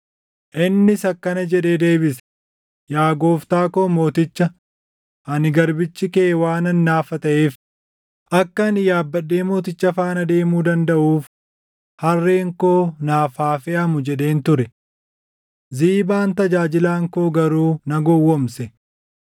Innis akkana jedhee deebise; “Yaa gooftaa koo mooticha, ani garbichi kee waanan naafa taʼeef, ‘Akka ani yaabbadhee mooticha faana deemuu dandaʼuuf harreen koo naaf haa feʼamu’ jedheen ture. Ziibaan tajaajilaan koo garuu na gowwoomse.